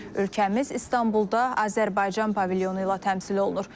Ölkəmiz İstanbulda Azərbaycan pavilyonu ilə təmsil olunur.